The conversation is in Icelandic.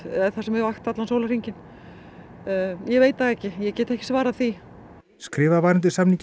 sem er vakt allan sólarhringinn ég veit það ekki ég get ekki svarað því skrifað var undir samning í